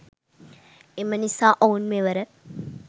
එම නිසා ඔවුන් මෙවර